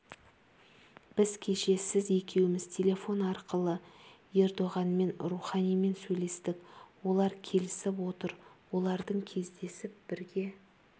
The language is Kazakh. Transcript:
біз кеше сіз екеуміз телефон арқылы ердоғанмен руханимен сөйлестік олар келісіп отыр олардың кездесіп бірге